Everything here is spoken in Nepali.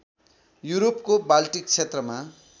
युरोपको बाल्टिक क्षेत्रमा